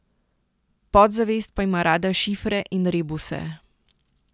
Podzavest pa ima rada šifre in rebuse.